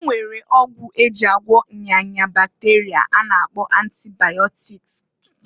E nwere ọgwụ e ji agwọ nya nya bakterịa a na-akpọ antibaịọtikịsị.